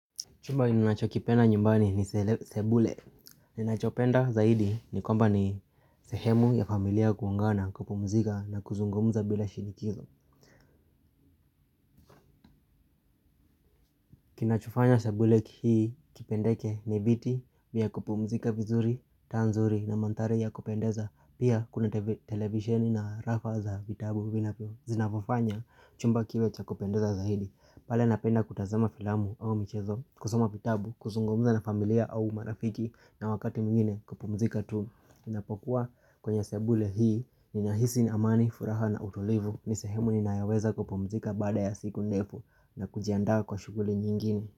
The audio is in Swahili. Chumba ninachokipenda nyumbani ni sebule. Ninachopenda zaidi ni kwamba ni sehemu ya familia kuangana kupumzika na kuzungumuza bila shinikizo. Kinachofanya sebule kipendeke ni viti vya kupumzika vizuri, tanzuri na mandhari ya kupendeza. Pia kuna televisioni na rafa za vitabu vinavyo. Zinafofanya chumba kiwe cha kupendeza zaidi Pala napenda kutazama filamu au michezo kusoma vitabu, kuzungumuza na familia au marafiki na wakati mwengine kupumzika tu Ninapokuwa kwenye sebule hii Ninahisi na amani, furaha na utulivu ni sehemu ninaweza kupumzika baada ya siku ndefu na kujiandaa kwa shuguli nyingine.